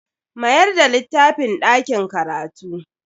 Mayar da littafin dakin karatu.